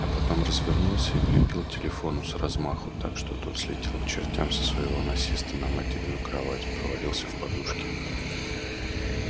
а потом развернулся и влепил телефону с размаху так что тот слетел к чертям со своего насеста на материну кровать провалился в подушки